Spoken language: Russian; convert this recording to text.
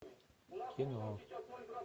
кино